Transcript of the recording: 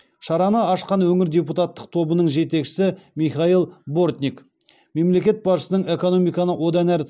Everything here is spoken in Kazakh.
шараны ашқан өңір депутаттық тобының жетекшісі михаил бортник мемлекет басшысының экономиканы одан әрі